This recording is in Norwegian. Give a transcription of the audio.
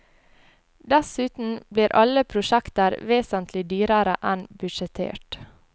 Dessuten blir alle prosjekter vesentlig dyrere enn budsjettert.